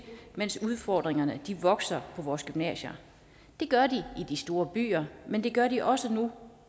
mens udfordringerne vokser på vores gymnasier det gør de i de store byer men det gør de også nu